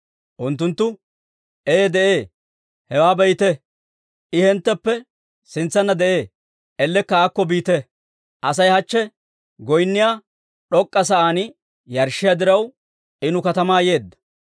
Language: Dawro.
Unttunttu, «Ee de'ee; hewaa be'ite; I hintteppe sintsanna de'ee; ellekka aakko biite. Asay hachche goynniyaa d'ok'k'a sa'aan yarshshiyaa diraw, I nu katamaa yeedda.